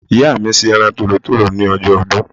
Ìyá mi se eran tòlótòló ni ojó odún